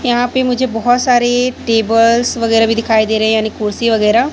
यहां पे मुझे बहोत सारे टेबल्स वगैरा भी दिखाई दे रहे हैं यानी कुर्सी वगैरा--